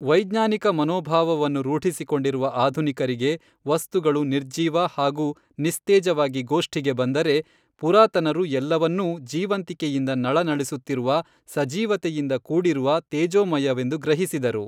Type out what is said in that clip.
ವೈಜ್ಞಾನಿಕ ಮನೋಭಾವವನ್ನು ರೂಢಿಸಿಕೊಂಡಿರುವ ಆಧುನಿಕರಿಗೆ ವಸ್ತುಗಳು ನಿರ್ಜೀವ ಹಾಗೂ ನಿಸ್ತೇಜವಾಗಿ ಗೋಷ್ಠಿಗೆ ಬಂದರೆ, ಪುರಾತನರು ಎಲ್ಲವನ್ನೂ ಜೀವಂತಿಕೆಯಿಂದ ನಳನಳಿಸುತ್ತಿರುವ, ಸಜೀವತೆಯಿಂದ ಕೂಡಿರುವ ತೇಜೋಮಯವೆಂದು ಗ್ರಹಿಸಿದರು.